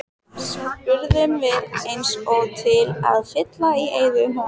spurðum við eins og til að fylla í eyðuna.